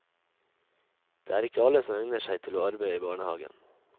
Det er ikke alle som egner seg til å arbeide i barnehagen.